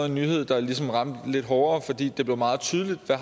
en nyhed der ligesom ramte lidt hårdere fordi det blev meget tydeligt hvad